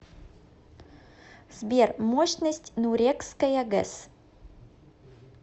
сбер мощность нурекская гэс